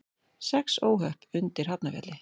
Sex óhöpp undir Hafnarfjalli